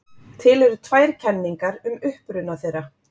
Til eru tvær kenningar um uppruna þeirra.